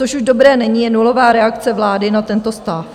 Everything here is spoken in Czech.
Co už dobré není, je nulová reakce vlády na tento stav.